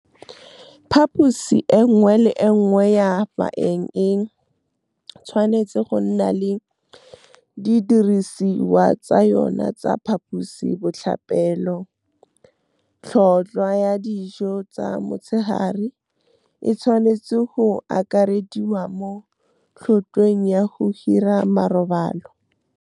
Phaposi e nngwe le e nngwe ya baeng e tshwanetse go nna le didirisiwa tsa yona tsa phaposi botlhapelo, tlhotlhwa ya dijo tsa motshegare e tshwanetswe go akarediwa mo tlhotlhweng ya go hira marobalo. Phaposi e nngwe le e nngwe ya baeng e tshwanetse go nna le didirisiwa tsa yona tsa phaposi botlhapelo, tlhotlhwa ya dijo tsa motshegare e tshwanetswe go akarediwa mo tlhotlhweng ya go hira marobalo.